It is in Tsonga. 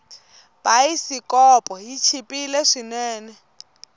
bayisikopo yi chipile swinene